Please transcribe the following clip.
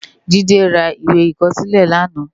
Jide rá iwé ikòsilé làná